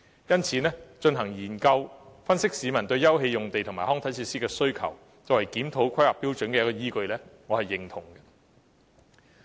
因此，進行研究以分析市民對休憩用地及康體設施的需求，作為檢討《規劃標準》的依據，我是認同的。